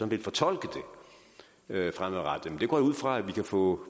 vil fortolke det fremadrettet det går jeg ud fra at vi kan få